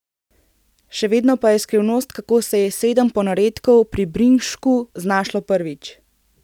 Še vedno pa je skrivnost, kako se je sedem ponaredkov pri Brinšku znašlo prvič.